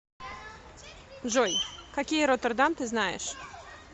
джой какие роттердам ты знаешь